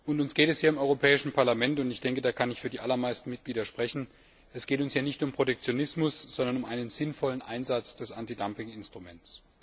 Und uns geht es hier im Europäischen Parlament ich denke, da kann ich für die allermeisten Mitglieder sprechen nicht um Protektionismus, sondern um einen sinnvollen Einsatz des Antidumping Instruments.